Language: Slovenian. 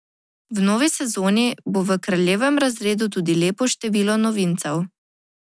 V novi sezoni bo v kraljevem razredu tudi lepo število novincev.